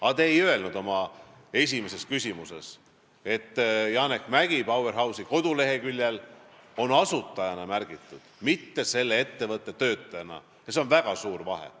Aga te ei öelnud oma esimeses küsimuses, et Janek Mäggi on Powerhouse'i koduleheküljel märgitud asutajana, mitte selle ettevõtte töötajana, ja siin on väga suur vahe.